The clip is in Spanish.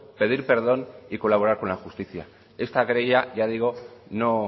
pedir perdón y colaborar con la justicia esta querella ya digo no